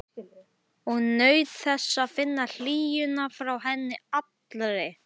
Og naut þess að finna hlýjuna frá henni allri.